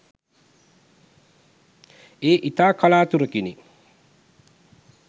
ඒ ඉතා කලාතුරකිනි.